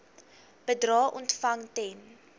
bedrae ontvang ten